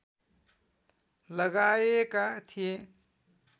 लगाएका थिए